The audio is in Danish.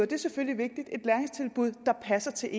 det er selvfølgelig vigtigt der passer til